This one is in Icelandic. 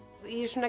ég svona